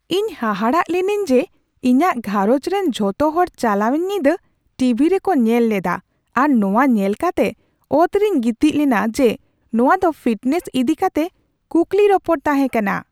ᱤᱧ ᱦᱟᱦᱟᱲᱟᱜ ᱞᱤᱱᱟᱹᱧ ᱡᱮ ᱤᱧᱟᱹᱜ ᱜᱷᱟᱨᱚᱸᱡᱽ ᱨᱮᱱ ᱡᱚᱛᱚ ᱦᱚᱲ ᱪᱟᱞᱟᱣᱮᱱ ᱧᱤᱫᱟᱹ ᱴᱤᱵᱷᱤ ᱨᱮᱠᱚ ᱧᱮᱞ ᱞᱮᱫᱟ ᱟᱨ ᱱᱚᱶᱟ ᱧᱮᱞ ᱠᱟᱛᱮ ᱚᱛᱨᱮᱧ ᱜᱤᱛᱤᱡ ᱞᱮᱱᱟ ᱡᱮ ᱱᱚᱶᱟ ᱫᱚ ᱯᱷᱤᱴᱱᱮᱥ ᱤᱫᱤ ᱠᱟᱛᱮ ᱠᱩᱠᱞᱤ ᱨᱚᱯᱚᱲ ᱛᱟᱦᱮᱸ ᱠᱟᱱᱟ ᱾